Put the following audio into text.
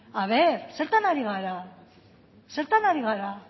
aber zertan ari gara zertan ari gara